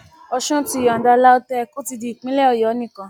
ọsùn ti yọǹda lautech ó ti di típínlẹ ọyọ nìkan